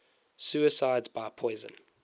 suicides by poison